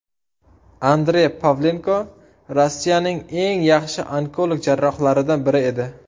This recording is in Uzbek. Andrey Pavlenko Rossiyaning eng yaxshi onkolog-jarrohlaridan biri edi.